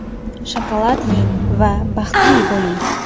Shokolad yeng va baxtli bo‘ling.